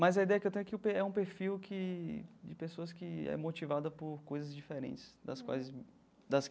Mas a ideia que tenho é que o per é um perfil que de pessoas que é motivada por coisas diferentes, das quais me das.